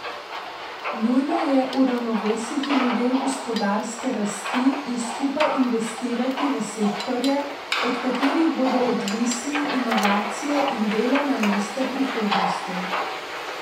Nujno je uravnovesiti model gospodarske rasti in skupaj investirati v sektorje, od katerih bodo odvisni inovacije in delovna mesta prihodnosti.